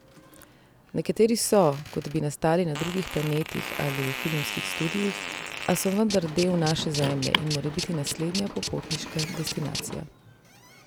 Nekateri so, kot bi nastali na drugih planetih ali v filmskih studiih, a so vendar del naše Zemlje in morebiti naslednja popotniška destinacija.